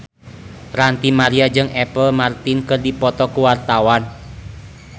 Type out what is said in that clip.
Ranty Maria jeung Apple Martin keur dipoto ku wartawan